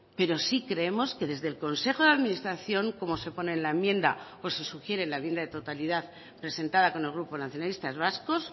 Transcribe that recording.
pero sí creemos que desde el consejo de administración como se pone en la enmienda o se sugiere en la enmienda de totalidad presentada con el grupo nacionalistas vascos